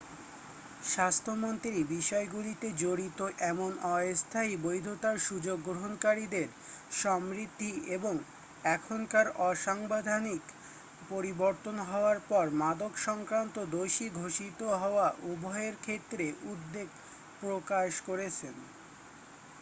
স্বাস্থ্যমন্ত্রী বিষয়গুলিতে জড়িত এমন অস্থায়ী বৈধতার সুযোগ গ্রহণকারীদের সমৃদ্ধি এবং এখনকার অসাংবিধানিক পরিবর্তন হওয়ার পর মাদক-সংক্রান্ত দোষী ঘোষিত হওয়া উভয়ের ক্ষেত্রে উদ্বেগ প্রকাশ করেছেন